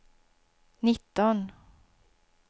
nitton